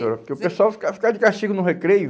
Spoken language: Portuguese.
Porque o pessoal ficava ficava de castigo no recreio.